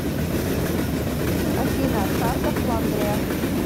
афина карта фландрия